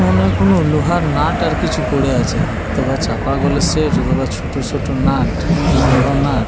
মনে হয় কোনো লোহার নাট আর কিছু পড়ে আছে। অথবা চাপা কলের সেট অথবা ছোট ছোট নাট কি বড় নাট ।